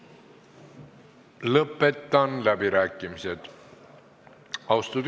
Küsimus ei ole eesti ja vene kogukondade keelelises ja muus vastandamises, mida siin saalis ikka veel nende küsimuste puhul hõljumas tunda on.